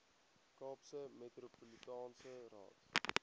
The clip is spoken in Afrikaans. kaapse metropolitaanse raad